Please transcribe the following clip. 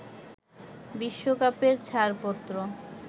বিশ্বকাপের ছাড়পত্র